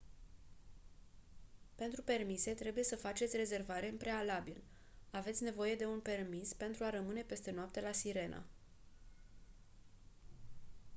pentru permise trebuie să faceți rezervare în prealabil aveți nevoie de un permis pentru a rămâne peste noapte la sirena